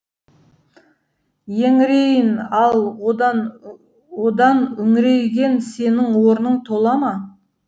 еңірейін ал одан одан үңірейген сенің орның тола ма